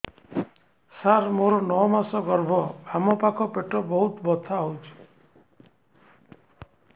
ସାର ମୋର ନଅ ମାସ ଗର୍ଭ ବାମପାଖ ପେଟ ବହୁତ ବଥା ହଉଚି